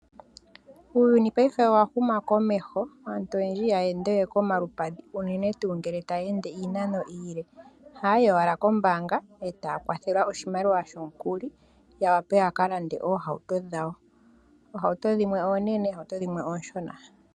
Uuyuni paife owahuma komeho, aantu oyendji iha ya endewe komalupadhi unene tuu ngele taya ende iinano iile, oha yi owala kombaanga, etaya kwathelwa oshimaliwa shomukuli yawape yakalande oohauto dhawo, oohauto dhimwe oonene, dhimwe ooshona.